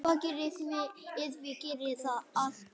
Konungur minn, sagði Marteinn.